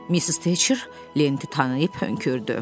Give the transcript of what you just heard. Missis Teçer lenti tanıyıb hönkürcü.